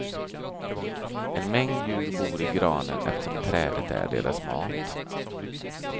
En mängd djur bor i granen eftersom trädet är deras mat.